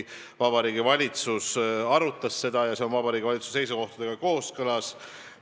a. ja see on Vabariigi Valitsuse seisukohtadega kooskõlas.